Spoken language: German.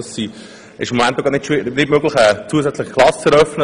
Es ist jedoch nicht möglich, eine zusätzliche Klasse zu eröffnen.